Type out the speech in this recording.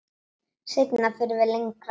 Seinna förum við lengra.